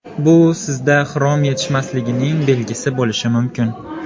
Bu sizda xrom yetishmasligining belgisi bo‘lishi mumkin.